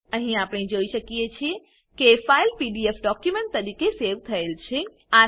અહી આપણે જોઈએ છીએ કે ફાઈલ પીડીએફ ડોક્યુમેન્ટ તરીકે સેવ થયેલ છે